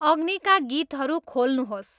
अग्नीका गीतहरू खोल्नुहोस्